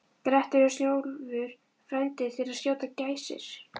Grettir og Snjólfur frændi til að skjóta gæsir.